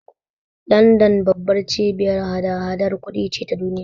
Landan babbar cibiyar hada-hadar kudi ce ta duniya.